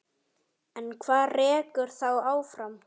En hvað rekur þá áfram?